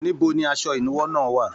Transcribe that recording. Níbo ní asọ ìnúwọ́ náà wà?